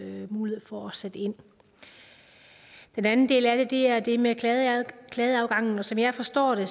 mulighed for at sætte ind den anden del af det er det med klageadgangen klageadgangen og som jeg forstår det